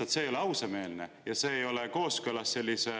Aga see ei ole lihtsalt ausameelne ja see ei ole kooskõlas sellise